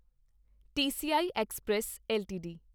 TCI express LTD